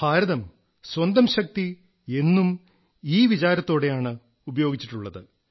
ഭാരതം സ്വന്തം ശക്തി എന്നും ഈ വിചാരത്തോടെയാണ് ഉപയോഗിച്ചിട്ടുള്ളത്